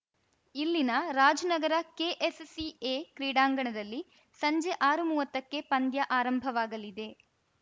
ಇಲ್ಲಿನ ರಾಜ್‌ನಗರ ಕೆಎಸ್‌ಸಿಎ ಕ್ರೀಡಾಂಗಣದಲ್ಲಿ ಸಂಜೆ ಆರುಮುವತ್ತಕ್ಕೆ ಪಂದ್ಯ ಆರಂಭವಾಗಲಿದೆ